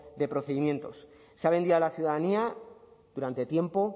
de procedimientos se ha vendido a la ciudadanía durante tiempo